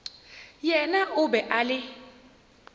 yena o be a le